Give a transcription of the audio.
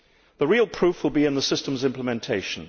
The real proof will be in the system's implementation.